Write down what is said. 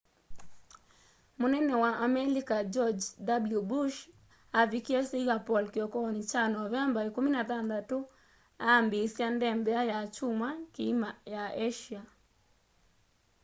mũnene wa amelika george w bush aavikie singapore kĩokonĩ kya novemba 16 aambĩĩsya ndembea ya kyumwa kĩima ya asia